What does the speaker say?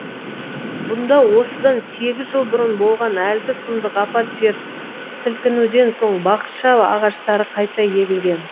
бұнда осыдан сегіз жыл бұрын болған әлгі сұмдық апат жер сілкінуден соң бақша ағаштары қайта егілген